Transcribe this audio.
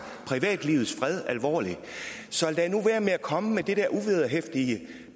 privatlivets fred alvorligt så lad nu være med at komme med det der uvederhæftige